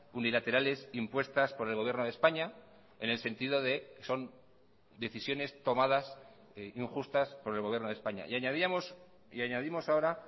unilaterales impuestas por el gobierno de españa en el sentido de son decisiones tomadas injustas por el gobierno de españa y añadíamos y añadimos ahora